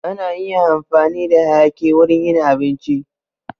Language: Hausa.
Ana iya amfani da hayaki wurin yin abinci